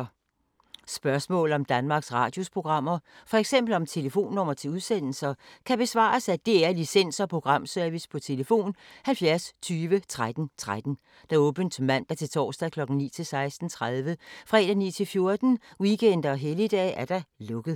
Spørgsmål om Danmarks Radios programmer, f.eks. om telefonnumre til udsendelser, kan besvares af DR Licens- og Programservice: tlf. 70 20 13 13, åbent mandag-torsdag 9.00-16.30, fredag 9.00-14.00, weekender og helligdage: lukket.